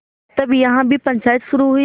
तब यहाँ भी पंचायत शुरू हुई